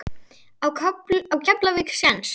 Á Keflavík séns?